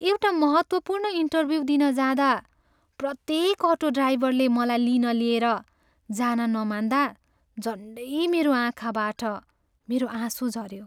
एउटा महत्त्वपूर्ण इन्टर्भ्यु दिन जाँदा प्रत्येक अटो ड्राइभरले मलाई लिन लिएर जान नमान्दा झन्डै मेरो आँखाबाट मेरो आँसु झऱ्यो।